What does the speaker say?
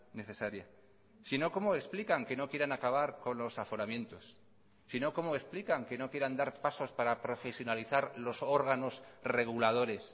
necesaria si no cómo explican que no quieran acabar con los aforamientos si no cómo explican que no quieran dar pasos para profesionalizar los órganos reguladores